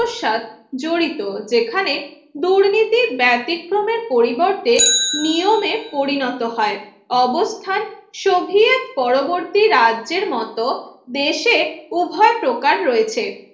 আত্মসাদ জড়িত যেখানে দুর্নীতি ব্যতিক্রমের পরিবর্তে নিয়মে পরিণত হয় অবস্থান সোভিয়েত পরবর্তী রাজ্যের মত দেশে উভয় প্রকার রয়েছে